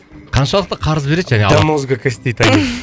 қаншалықты қарыз береді